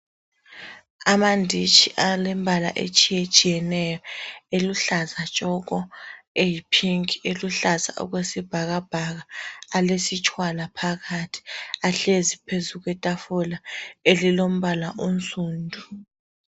Amanditshi alembala etshiyetshiyeneyo, eluhlaza tshoko, eyiphinki , eluhlaza okwesibhakabhaka alesitshwala phakathi ahlezi phezu kwetafula elilombala onsundu.